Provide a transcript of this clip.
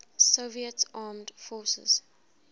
soviet armed forces